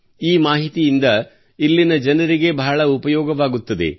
ಈ ಮಾಹಿತಿಯಿಂದ ಇಲ್ಲಿನ ಜನರಿಗೆ ಬಹಳ ಉಪಯೋಗವಾಗುತ್ತದೆ